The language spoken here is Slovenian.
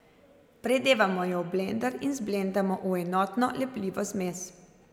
Predevamo jo v blender in zblendamo v enotno, lepljivo zmes.